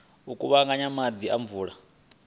u kuvhanganya maḓi a mvula